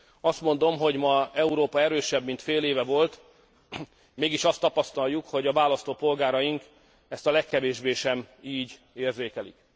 Azt mondom, hogy ma Európa erősebb, mint fél éve volt, mégis azt tapasztaljuk, hogy a választópolgáraink ezt a legkevésbé sem így érzékelik.